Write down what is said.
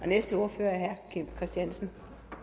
næste ordfører er herre kim christiansen